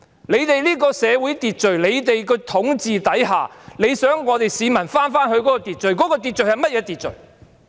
在政府的社會秩序和統治之下，想市民返回秩序，秩序是甚麼呢？